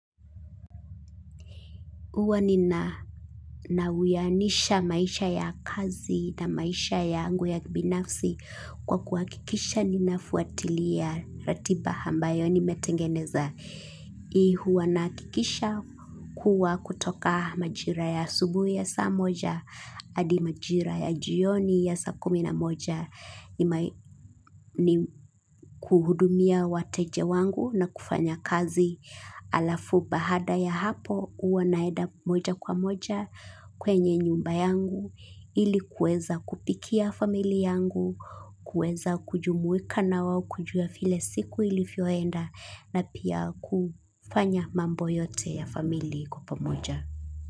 Huwa nina na uwianisha maisha ya kazi na maisha yangu ya binafsi kwa kuhakikisha ninafuatilia ratiba ambayo nimetengeneza. Huwa nahakikisha kuwa kutoka majira ya asubuhi ya saa moja hadi majira ya jioni ya saa kumi na moja ni kuhudumia wateja wangu na kufanya kazi halafu baada ya hapo huwa naenda moja kwa moja kwenye nyumba yangu ili kuweza kupikia familia yangu, kuweza kujumuika na wao kujua vile siku ilivyoenda na pia kufanya mambo yote ya familii kwa pamoja.